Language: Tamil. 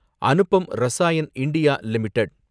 Anupam Rasayan India limited